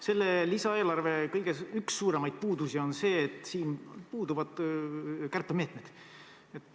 Selle lisaeelarve üks suurimaid puudusi on see, et siin puuduvad kärpemeetmed.